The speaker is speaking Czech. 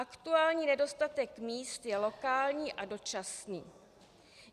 Aktuální nedostatek míst je lokální a dočasný.